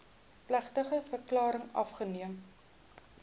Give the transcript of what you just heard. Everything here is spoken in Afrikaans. plegtige verklaring afgeneem